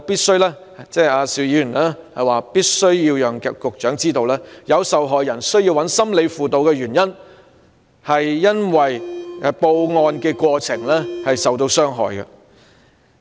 邵議員表示他必須讓局長知道，受害人需要尋求心理輔導的原因，是由於在報案過程中受到傷害。